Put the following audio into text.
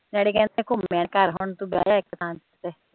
daddy ਕਹਿੰਦੇ ਘੁੰਮੇ ਹੁਣ ਤੁੰ ਬਹਿ ਜਾ ਇੱਕ ਥਾਂ ਤੇ